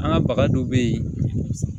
An ka baga dɔ bɛ yen